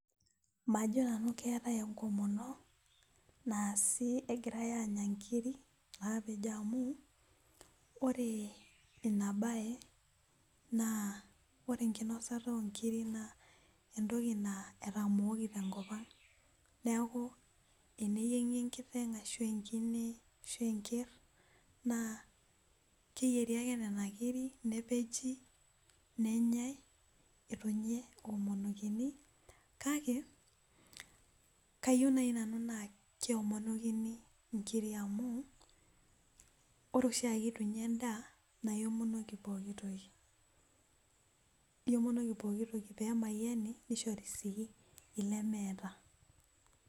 majo nanu keetae enkomono naasi egirai aanya inkiri naapejo amu ore ina baye naa ore enkinosata oonkiri naa entoki naa etamooki tenkopang' neeku teneyieng'i enkiteng' ashu enkine ashu enker ,naa keyieri ake nena kiri nepeji nenyae etu ninye ewuomonokini , kake kayieu naaji nanu naa kewomonokini inkiri amu ore oshieke etu inya edaa naa iwomonoki pooki toki pee emayiani nisho.ri sii ilemetaa